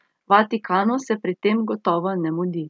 Vatikanu se pri tem gotovo ne mudi.